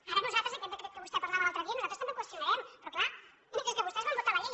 ara nosaltres aquest decret que vostè parlava l’altre dia nosaltres també el qüestionarem però clar és que vos tès van votar la llei